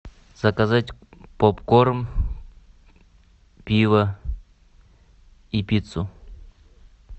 заказать попкорн пиво и пиццу